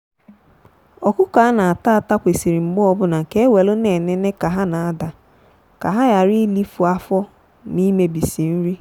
ọkụkọ a na-ata ata kwesịrị mgbe ọbụna ka e welu na-enene ka ha n'adaa ka ha ghara ilifu afọ ma imebisi nri.